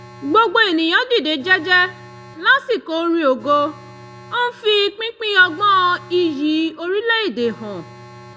gbogbo ènìyàn dìde jẹ́jẹ́ lásìkò orin ògo ń fi pínpín ọgbọ́n iyì orílẹ̀ èdè hàn